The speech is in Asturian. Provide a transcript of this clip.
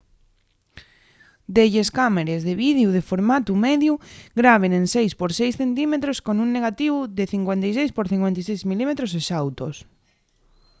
delles cámares de videu de formatu mediu graben en 6 por 6 cm con un negativu de 56 por 56 mm exautos